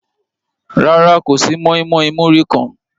Rárá, kò sí mọ́ímọ́í múrí kan.